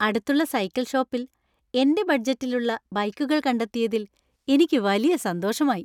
അടുത്തുള്ള സൈക്കിൾ ഷോപ്പിൽ എന്‍റെ ബഡ്ജറ്റിലിലുള്ള ബൈക്കുകൾ കണ്ടെത്തിയതിൽ എനിക്ക് വലിയ സന്തോഷമായി.